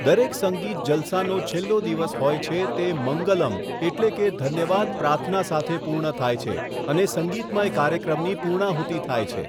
દરેક સંગીત જલસાનો છેલ્લો દિવસ હોય છે તે મંગલમ એટલે કે ધન્યવાદ પ્રાર્થના સાથે પૂર્ણ થાય છે અને સંગીતમય કાર્યક્રમની પૂર્ણાહૂતિ થાય છે.